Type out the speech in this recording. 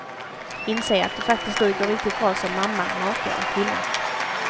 Inse att du faktiskt duger riktigt bra som mamma, maka och kvinna.